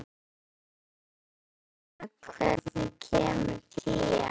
Geirfinna, hvenær kemur tían?